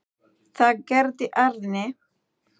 Það gerði Árný.